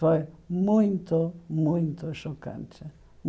Foi muito, muito chocante.